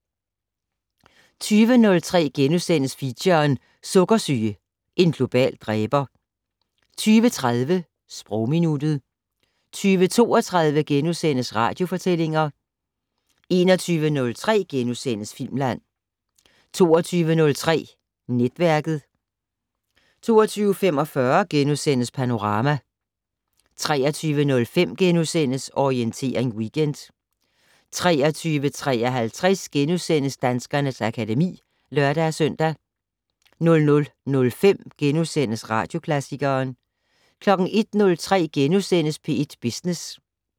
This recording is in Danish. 20:03: Feature: Sukkersyge - en global dræber * 20:30: Sprogminuttet 20:32: Radiofortællinger * 21:03: Filmland * 22:03: Netværket 22:45: Panorama * 23:05: Orientering Weekend * 23:53: Danskernes akademi *(lør-søn) 00:05: Radioklassikeren * 01:03: P1 Business *